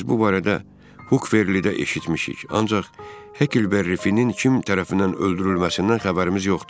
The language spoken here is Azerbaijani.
Biz bu barədə Hukverlidə eşitmişik, ancaq Hekkielberifinin kim tərəfindən öldürülməsindən xəbərimiz yoxdur.